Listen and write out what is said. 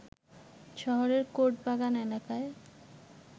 শহরের কোর্ট বাগান এলাকায়